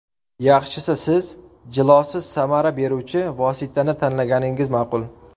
Yaxshisi siz jilosiz samara beruvchi vositani tanlaganingiz ma’qul.